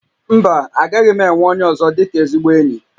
Mba, agaghị m enwe onye ọzọ dịka ezigbo enyi